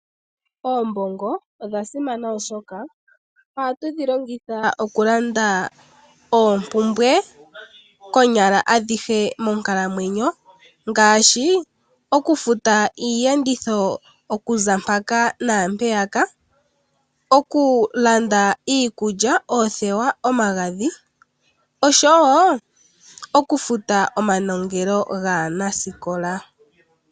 Oombongo odha simana oshoka, ohatu dhi longitha oku landa oompumbwe konyala adhihe monkalamwenyo, ngaashi oku futa iiyenditho okuza mpaka naampeyaka, oku landa iikulya, oothewa, omagadhi oshowo, oku futa omanongelo gaanasikola.